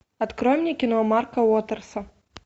открой мне кино марка уотерса